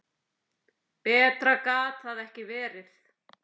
Betra gat það ekki verið.